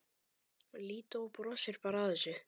Lídó brosir bara að þessu.